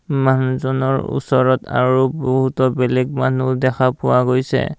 মানুহজনৰ ওচৰত আৰু বহুতো বেলেগ মানুহ দেখা পোৱা গৈছে।